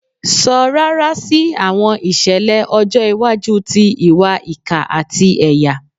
Sọ rara si awọn iṣẹlẹ ọjọ iwaju ti iwa ika ati ẹya